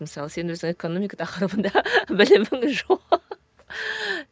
мысалы сен өзің экономика тақырыбында білімің